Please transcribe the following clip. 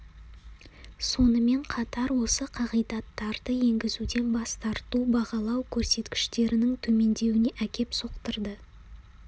сонымен қатар осы қағидаттарды енгізуден бас тарту бағалау көрсеткіштерінің төмендеуіне әкеп соқтырды